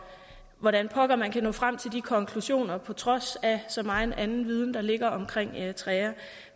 hvordan pokker man kan nå frem til de konklusioner på trods af så megen anden viden der ligger om eritrea